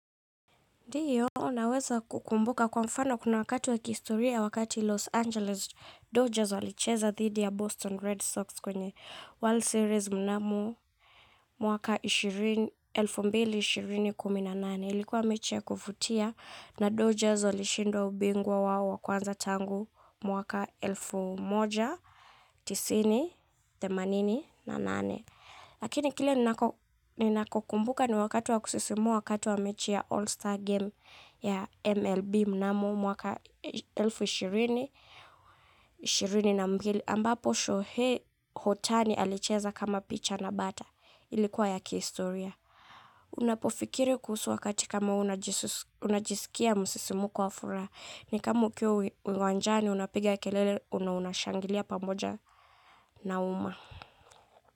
Ndiyo naweza kukumbuka kwa mfano kuna wakati wa kihistoria wakati Los Angeles Dodgers walicheza thidi ya Boston Red Sox kwenye World Series mnamu mwaka elfu moja mia mbili ishirini na nane ilikuwa mechi ya kuvutia na Dodgers walishindwa ubingwa wao wakwanza tangu mwaka elfu moja mia moja tisini na nane. Themanini na nane. Lakini kile ninachokumbuka ni wakati wa kusisimua wakati wa mechi ya All-Star Game ya MLB mnamo mwaka elfu ishirini na mbili. Ambapo show hii hotani alicheza kama picha na bata. Ilikuwa ya kihistoria. Unapofikiri kuhusu wakati kama huu unajisikia msisimuko wa furaha. Ni kama ukiwa uwanjani unapiga kelele na unashangilia pamoja na uma.